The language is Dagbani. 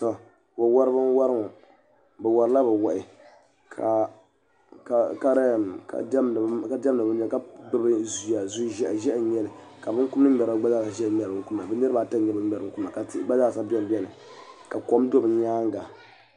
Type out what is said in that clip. Tɔ wa wariba n wɔri ŋɔ bɛ warila bɛ wahi ka diɛmda ka kuli gbubi zuya zu ʒehi n nyeli ka binkum ŋmeri ba gba zaa ʒiya n ŋmeri binkumda bɛ niribi ata ka kom do bɛ nyaaŋa.